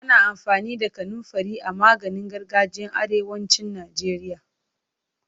Ana amfani da kanunfari a maganin gargajiyan arewacin Najeriya.